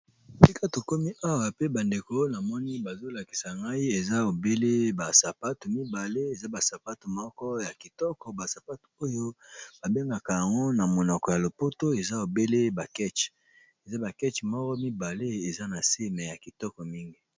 Esika tokomi awa pe bandeko namoni bazolakisa ngai eza ebele basapate mibale, eza basapato moko ya kitoko basapato oyo babengaka yango na monoko ya lopoto eza ebele ba keche, eza bakeche moko mibale eza na se pe ya kitoko mingi.